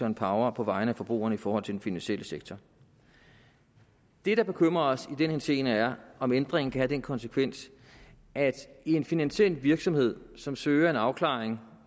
en power på vegne af forbrugerne i forhold til den finansielle sektor det der bekymrer os i den henseende er om ændringen kan have den konsekvens at en finansiel virksomhed som søger en afklaring